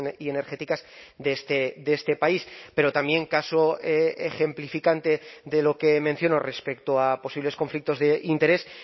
y energéticas de este país pero también caso ejemplificante de lo que menciono respecto a posibles conflictos de interés